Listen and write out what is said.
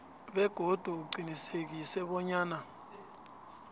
begodu uqinisekise bonyana